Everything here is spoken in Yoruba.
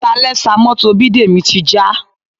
Salẹ́sà mọ́tò Bidemi ti já